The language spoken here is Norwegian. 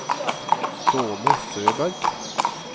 Ståle Søberg